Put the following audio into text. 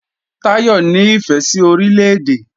Táyọ̀ ní ìfẹ́ sí Orílè-èdè